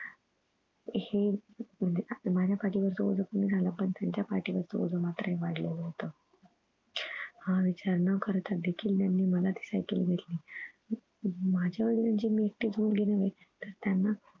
हे म्हणजे माझ्या पाठीवरच ओझं कमी झालं पण त्यांच्या पाठीवरच ओझं मात्र वाढलेलं होत. हा विचार न करता देखील त्यांनी मला ती सायकल घेतली अं माझ्या वडिलांची मी एकटीच मुलगी नव्हे. तर त्यांना